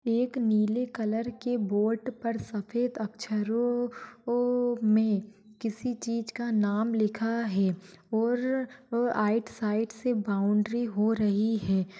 एक नीले कलर की बोर्ड पर सफ़ेद अक्षरों ह मे किसी चीज का नाम लिखा है और आइड साइड से बाउंड्री हो रही है।